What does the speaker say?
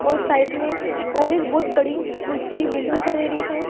और साइड में और एक बहुत बड़ीं ऊंची बिल्डिंग दिखाई दे रही है।